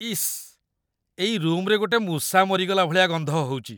ଇସ୍, ଏଇ ରୁମ୍‌ରେ ଗୋଟେ ମୂଷା ମରିଗଲା ଭଳିଆ ଗନ୍ଧ ହଉଚି ।